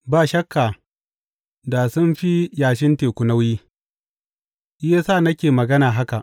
Ba shakka da sun fi yashin teku nauyi, shi ya sa nake magana haka.